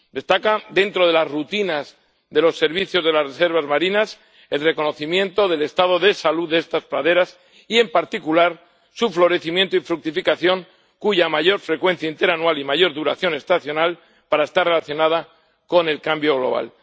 Destaca, dentro de las rutinas de los servicios de las reservas marinas, el reconocimiento del estado de salud de estas praderas, y en particular su florecimiento y fructificación, cuya mayor frecuencia interanual y mayor duración estacional parece estar relacionada con el cambio global.